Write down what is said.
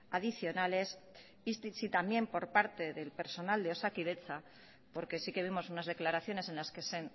adicionales y si también por parte del personal de osakidetza porque sí que vimos unas declaraciones en las que se